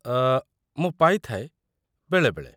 ଅ.., ମୁଁ ପାଇଥାଏ, ବେଳେବେଳେ।